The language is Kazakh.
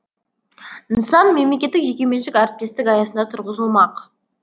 нысан мемлекеттік жекеменшік әріптестік аясында тұрғызылмақ